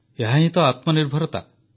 ଏହାହିଁ ତ ଆତ୍ମନିର୍ଭରତା